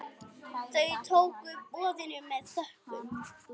Þau tóku boðinu með þökkum.